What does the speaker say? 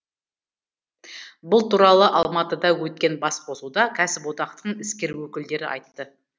бұл туралы алматыда өткен басқосуда кәсіподақтың іскер өкілдері айтты